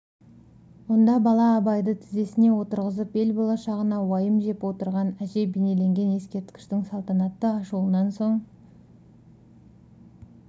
онда бала абайды тізесіне отырғызып ел болашағына уайым жеп отырған әже бейнеленген ескерткіштің салтанатты ашылуынан соң